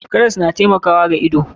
Karas na taimakawa wa ido.